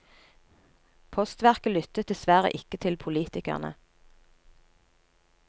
Postverket lyttet dessverre ikke til politikerne.